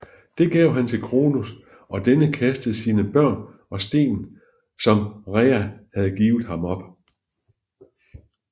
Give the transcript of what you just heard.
Det gav han til Kronos og denne kastede sine børn og stenen som Rhea havde givet ham op